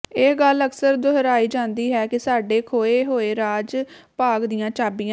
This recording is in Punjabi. ਇਹ ਗੱਲ ਅਕਸਰ ਦੁਹਰਾਈ ਜਾਂਦੀ ਹੈ ਕਿ ਸਾਡੇ ਖੇਏ ਹੋਏ ਰਾਜ ਭਾਗ ਦੀਆਂ ਚਾਬੀਆਂ